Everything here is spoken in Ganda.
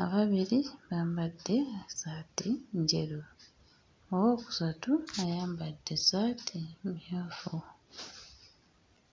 ababiri bambadde essaati njeru, owookusatu ayambadde essaati mmyufu.